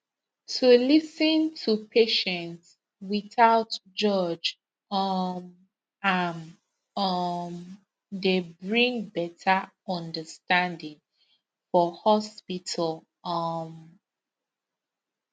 to lis ten to patient without judge um am um dey bring better understanding for hospital um